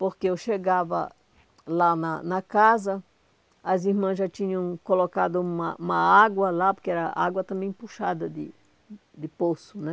Porque eu chegava lá na na casa, as irmãs já tinham colocado uma uma água lá, porque era água também puxada de de poço, né?